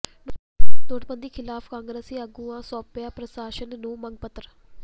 ਨੋਟਬੰਦੀ ਖਿਲਾਫ਼ ਕਾਂਗਰਸੀ ਆਗੂਆਂ ਸੌਾਪਿਆ ਪ੍ਰਸ਼ਾਸਨ ਨੂੰ ਮੰਗ ਪੱਤਰ